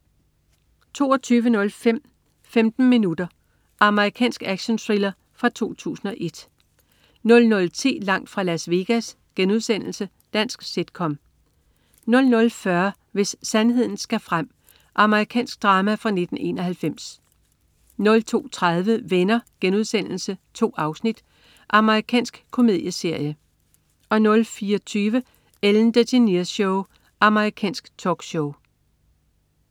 22.05 15 Minutes. Amerikansk actionthriller fra 2001 00.10 Langt fra Las Vegas.* Dansk sit-com 00.40 Hvis sandheden skal frem. Amerikansk drama fra 1991 02.30 Venner.* 2 afsnit. Amerikansk komedieserie 04.20 Ellen DeGeneres Show. Amerikansk talkshow